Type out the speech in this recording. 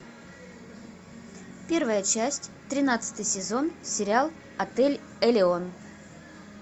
первая часть тринадцатый сезон сериал отель элеон